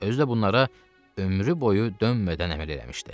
Özü də bunlara ömrü boyu dönmədən əməl eləmişdi.